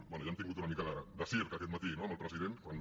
bé ja hem tingut una mica de circ aquest matí no amb el president quan